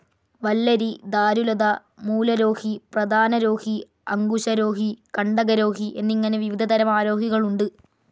വല്ലരി, ധാരുലത, മൂലരോഹി, പ്രധാനരോഹി, അങ്കുശരോഹി, കണ്ടകരോഹി എന്നിങ്ങനെ വിവിധ തരം ആരോഹികൾ ഉണ്ട്.